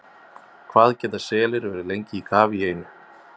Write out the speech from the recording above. Hvað geta selir verið lengi í kafi í einu?